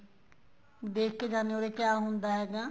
ਦੇਖਕੇ ਜਾਂਦੇ ਏ ਉਰੇ ਕਿਹਾ ਹੁੰਦਾ ਹੈਗਾ